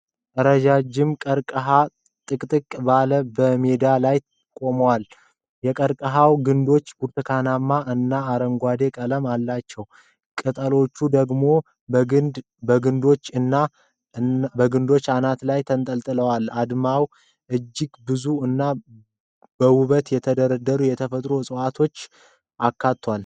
ረጃጅም ቀርቀሃዎች ጥቅጥቅ ብለው በሜዳ ላይ ይቆማሉ። የቀርቀሃው ግንዶች ብርቱካናማ እና አረንጓዴ ቀለም አላቸው። ቅጠሎቹ ደግሞ በግንዶቹ አናት ላይ ተንጠልጥለዋል። አውድማው እጅግ ብዙ እና በውበት የተደረደሩ የተፈጥሮ እፅዋትን አካቷል።